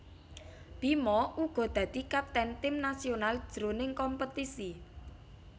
Bima uga dadi kapten tim nasional jroning kompetisi